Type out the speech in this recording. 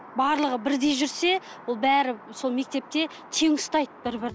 барлығы бірдей жүрсе ол бәрі сол мектепте тең ұстайды бір бірін